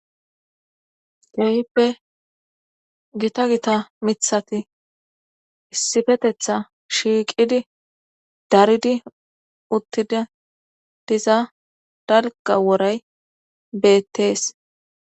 kehippe gita gita mithati issifetetha shiiqidi daridi uttida diza dalga woray beettees